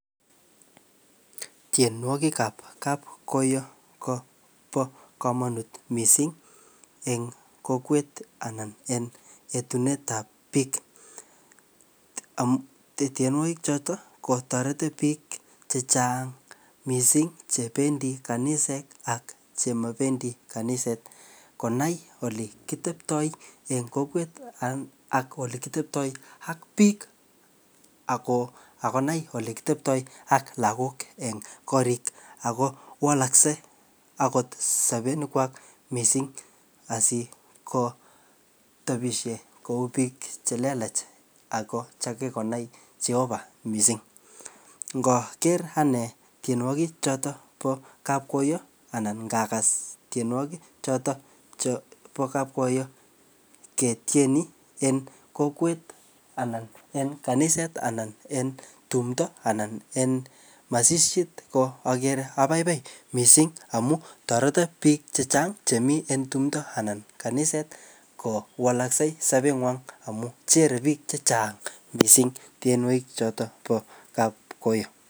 Tienwogik ap kapkoyo kobo komonut missing eng kokwet anan en etunet ap biik amu tienwogik chotok kotoreti biik chechang missing chebendi kaniset ak chemabendi kaniset konai ole kiteptoi eng kokwet ak ole kiteptoi ak biik. Ako akonai ole kiteptoi ak lagok eng korik ako walaksei akot sabenik kwak missing asikotebisie kou biik che lelach, ako chekikonai Jehovah missing. Ngaker ane tienwogik chotok po kapkoyo anan ngagas tienwogik chotok chebo kapkoyo ketieni en kokwet anan en kaniset anan en tumdo anan en masishit, ko akere abaibai missing amu toreto biik chechang chemiii en tumdo anan kaniset kowalaksei sobet ngwang, amu jere biik chechang missing tienwogik chotok po kapkoyo.